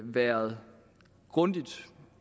været grundigt